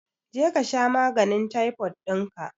Je kasha maganin taifod dinka